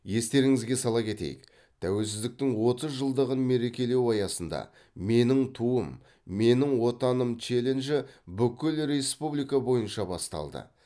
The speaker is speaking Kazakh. естеріңізге сала кетейік тәуелсіздіктің отыз жылдығын мерекелеу аясында менің туым менің отаным челенджі бүкіл республика бойынша басталды